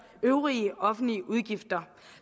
øvrige offentlige udgifter